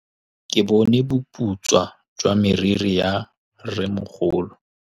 Ke bone boputswa jwa meriri ya rrêmogolo.